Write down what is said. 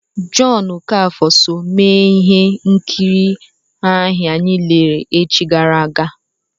Jọn Okafọ so mee ihe nkiri anyị lere echi gara aga.